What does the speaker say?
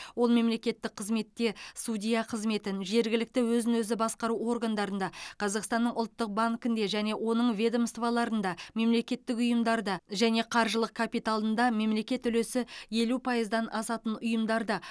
ол мемлекеттік қызметте судья қызметін жергілікті өзін өзі басқару органдарында қазақстанның ұлттық банкінде және оның ведомстволарында мемлекеттік ұйымдарда және қаржылық капиталында мемлекет үлесі елу пайыздан асатын ұйымдарда